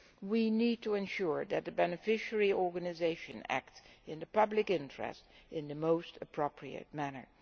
We need to ensure that the beneficiary organisations act in the public interest in the most appropriate manner.